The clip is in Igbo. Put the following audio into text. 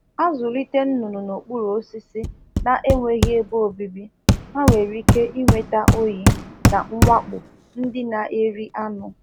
Ekwesịghị ịzụ ụmụ ọkụkọ n'okpuru osisi ọkụkọ n'okpuru osisi n’enweghị ebe e zoro ha, n’ihi na ọ na-etinye ha n’ihe ize ndụ oyi na nwakpo anụ ọhịa. pụrụ iri ha